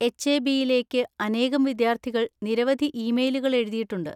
എച്.എ.ബി.യിലേക്ക് അനേകം വിദ്യാർത്ഥികൾ നിരവധി ഇമെയിലുകൾ എഴുതിയിട്ടുണ്ട്.